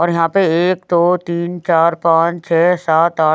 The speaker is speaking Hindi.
और यहाँ पे एक दो तीन चार पाच छह सात आठ--